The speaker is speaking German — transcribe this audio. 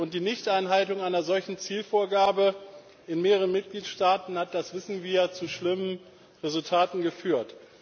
Die Nichteinhaltung einer solchen Zielvorgabe in mehreren Mitgliedstaaten hat das wissen wir zu schlimmen Resultaten geführt.